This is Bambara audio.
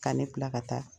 K'ale bila ka taa